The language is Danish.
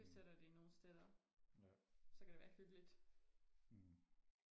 bestiller de nogle steder så kan der være hyggeligt